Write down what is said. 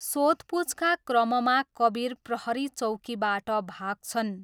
सोधपुछका क्रममा कबिर प्रहरी चौकीबाट भाग्छन्।